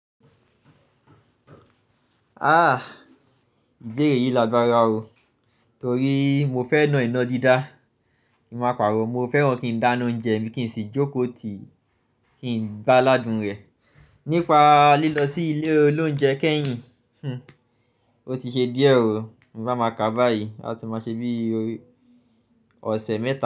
Ah! Ìbéèrè yìí lágbára o. Torí mo fẹ́ràn iná dídá. Ki n máa paro, mo fẹ́ran kí n dáná oúnjẹ mi kìí sì jóko tì kí n gbá ládùn rẹ. Nípa lílọ sí ilé ol'oúnjẹ Keyìn, o ti ṣe díẹ̀ o, mo bá máa ka báyìí a tó máa ṣe bí òsè mẹ́ta.